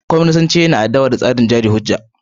Kwaminisanci yana adawa a tsarin jari hujja.